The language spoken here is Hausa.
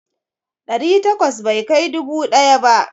Ɗari takwas bai kai dubu ɗaya ba.